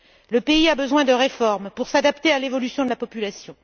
Le pays a besoin de réformes pour s'adapter à l'évolution de la population.